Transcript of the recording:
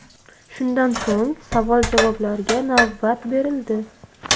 Shundan so‘ng savol-javoblarga navbat berildi.